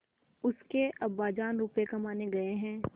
उसके अब्बाजान रुपये कमाने गए हैं